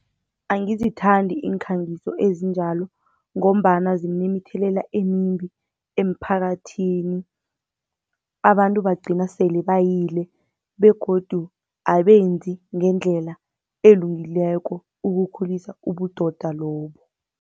Angizithandi iinkhangiso ezinjalo, ngombana zinemithelela emimbi emphakathini. Abantu bagcina sele bayile begodu abenzi ngendlela elungileko ukukhulisa ubudoda lobu.